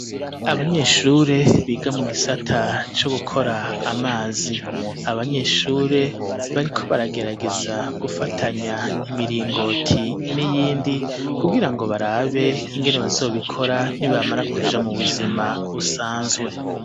Abanyeshure biga mu gisata co gukora amazi abanyeshuri bariko baragerageza gufatanya imiringoti n'iyindi ku girango barabe ingene bazobikora nibamara kuja mu buzima busanzwe.